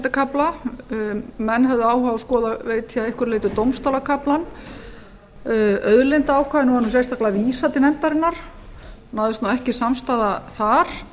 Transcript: forsetakafla menn höfðu áhuga á að skoða að einhverju leyti dómstólakaflann auðlindaákvæðinu var sérstaklega vísað til nefndarinnar það náðist ekki samstaða þar